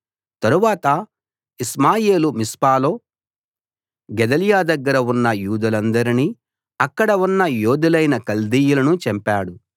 తరువాత ఇష్మాయేలు మిస్పాలో గెదల్యా దగ్గర ఉన్న యూదులందరినీ అక్కడ ఉన్న యోధులైన కల్దీయులను చంపాడు